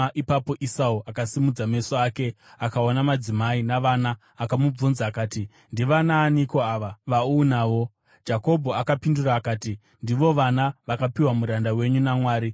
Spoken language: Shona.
Ipapo Esau akasimudza meso ake akaona madzimai navana. Akamubvunza akati, “Ndivanaaniko ava vaunavo?” Jakobho akapindura akati, “Ndivo vana vakapiwa muranda wenyu naMwari.”